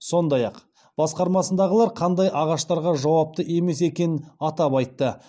сондай ақ басқармасындағылар қандай ағаштарға жауапты емес екенін атап айтты